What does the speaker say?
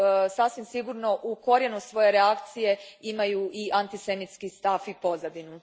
sasvim sigurno u korijenu svoje reakcije imaju i antisemitski stav i pozadinu.